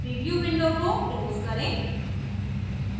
preview window को close करें